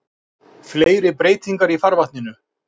Fleiri breytingar í farvatninu